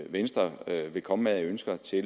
venstre vil komme med af ønsker til